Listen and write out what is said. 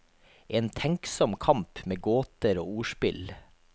En tenksom kamp med gåter og ordspill.